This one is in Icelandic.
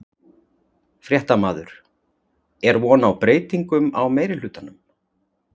Fréttamaður: Er von á breytingum á meirihlutanum?